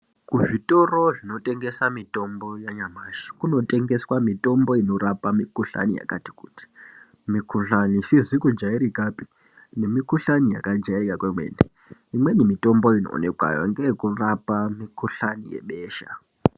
Kuzvitoro zvinotengesa mitombo yanyamashi, kunotengeswa mitombo inorapa mikhuhlani yakati kuti. Mikhuhlani isizi kujairikapi ,nemikhuhlani yakajairika kwemene. Imweni mitombo inoonekwayo, ngeyekurapa mikhuhlani yebesha.